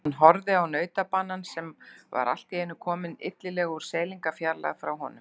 Hann horfði á nautabanann sem var allt í einu kominn illilega úr seilingarfjarlægð frá honum.